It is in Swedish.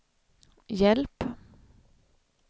hjälp